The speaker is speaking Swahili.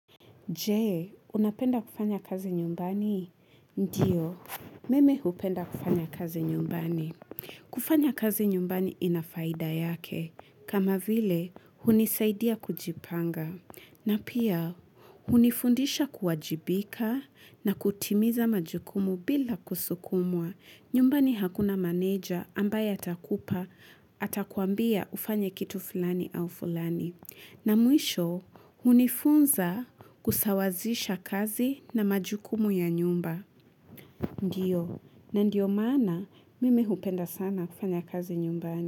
Je, unapenda kufanya kazi nyumbani? Ndiyo, mimu hupenda kufanya kazi nyumbani. Kufanya kazi nyumbani ina faida yake. Kama vile, hunisaidia kujipanga. Na pia, hunifundisha kuwajibika na kutimiza majukumu bila kusukumwa. Nyumbani hakuna maneja ambaye atakupa, atakuambia ufanye kitu fulani au fulani. Na mwisho, hunifunza kusawazisha kazi na majukumu ya nyumba. Ndiyo, na ndio maana mimi hupenda sana kufanya kazi nyumbani.